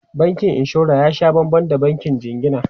Bankin inshora ya sha banban da bankin jingina.